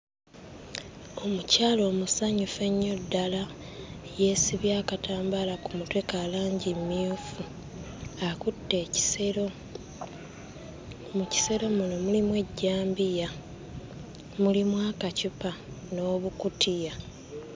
Omukyala omusanyufu ennyo ddala yeesibye akatambaala ku mutwe ka langi mmyufu, akutte ekisero. Mu kisero muno mulimu ejjambiya, mulimu akaccupa n'obukutiya.